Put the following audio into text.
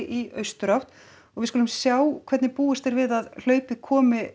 í austurátt og við skulum sjá hvernig búist er við að hlaupið komi